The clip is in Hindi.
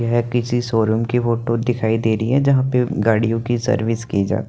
यह किसी शोरुम की फोटो दिखाई दे रही हे जहाँ पे गाडियों की सर्विस की जा --